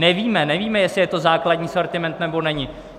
Nevíme, jestli je to základní sortiment, nebo není.